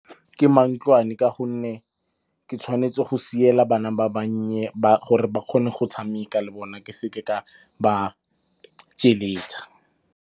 Ke mantlwane ka gonne ke tshwanetse go siela bana ba bannye gore ba kgone go tshameka le bona, ke seke ka ba .